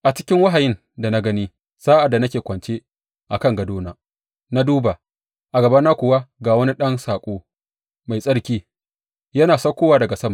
A cikin wahayin da gani sa’ad da nake kwance a kan gadona, Na duba, a gabana kuwa ga wani ɗan saƙo, mai tsarki, yana saukowa daga sama.